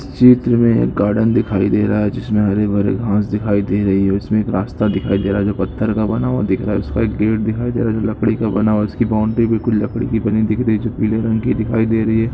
चित्र मे एक गार्डन दिखाई दे रहा है जिसमे हरे भरे घास दिखाई दे रही है उसमे एक रास्ता दिखाई दे रहा है जो पत्थर का बना हुआ दिख रहा है उसका एक गेट दिखाई दे रहा है जो लकड़ी का बना हुआ है इसकी बॉउन्ड्री भी लकड़ी की बनी हुई दिख रही है जो पीले रंग की दिखाई दे रही है।